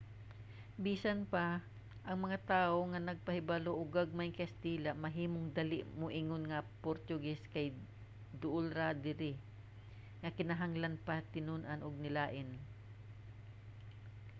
bisan pa ang mga tawo nga nahibalo og gamaymg kinatsila mahimong dali moingon nga ang portugese kay duol ra nga dili na kinahanglan pa ni tun-an og linain